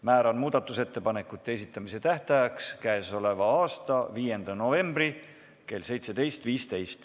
Määran muudatusettepanekute esitamise tähtajaks k.a 5. novembri kell 17.15.